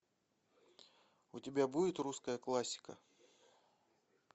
у тебя будет русская классика